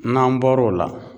N'an bɔr'o la